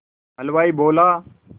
हलवाई बोला